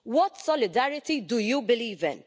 What solidarity do you believe in?